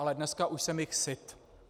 Ale dneska už jsem jich syt.